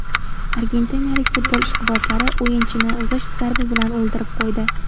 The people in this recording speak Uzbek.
Argentinalik futbol ishqibozlari o‘yinchini g‘isht zarbi bilan o‘ldirib qo‘ydi.